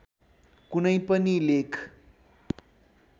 कुनै पनि लेख